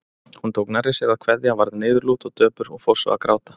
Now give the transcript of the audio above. Hún tók nærri sér að kveðja, varð niðurlút og döpur og fór svo að gráta.